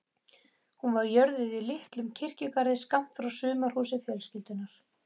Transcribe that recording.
Hún var jörðuð í litlum kirkjugarði skammt frá sumarhúsi fjölskyldunnar.